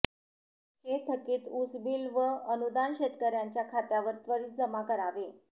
हे थकीत ऊसबिल व अनुदान शेतकऱयांच्या खात्यावर त्वरित जमा करावे